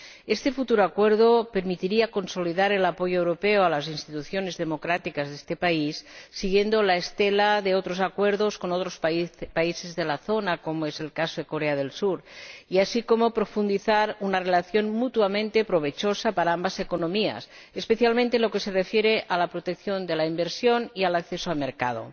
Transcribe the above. Este futuro acuerdo permitiría consolidar el apoyo europeo a las instituciones democráticas de este país siguiendo la estela de otros acuerdos con otros países de la zona, como es el caso de Corea del Sur, así como profundizar una relación mutuamente provechosa para ambas economías, especialmente en lo que se refiere a la protección de la inversión y al acceso al mercado.